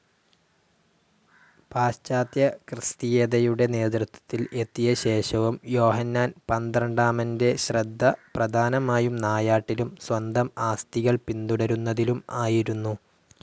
പാശ്ചാത്യക്രിസ്തീയതയുടെ നേതൃത്വത്തിൽ എത്തിയ ശേഷവും യോഹന്നാൻ പന്ത്രണ്ടാമൻ്റെ ശ്രദ്ധ പ്രധാനമായും നായാട്ടിലും സ്വന്തം ആസ്തികൾ പിന്തുടരുന്നതിലും ആയിരുന്നു.